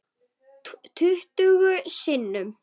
Tuttugu sinnum.